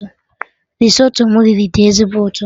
Risotto m riri dị ezigbo ụtọ